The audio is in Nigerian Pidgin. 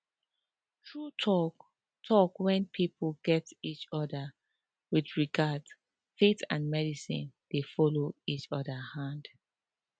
true talk talk when people gat each other with regard faith and medicine dey follow each other hand